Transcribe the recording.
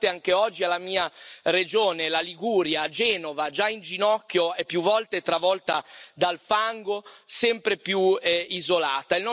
Guardate anche oggi alla mia regione, la Liguria, e a Genova, già in ginocchio e più volte travolta dal fango, sempre più isolata.